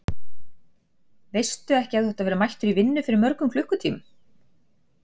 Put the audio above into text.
Veistu ekki að þú átt að vera mættur í vinnu fyrir mörgum klukkutímum?